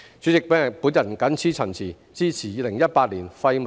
代理主席，我謹此陳辭，支持《條例草案》恢復二讀。